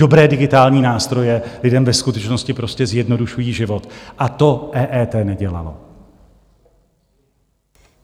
Dobré digitální nástroje lidem ve skutečnosti prostě zjednodušují život a to EET nedělalo.